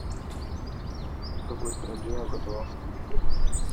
в какой стране образовался перекресток